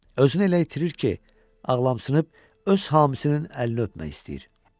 Özünü elə itirir ki, ağlamsınıb öz hamisinin əlini öpmək istəyir.